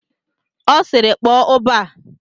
Ọ sịịrị, kpọọ ụbọ a!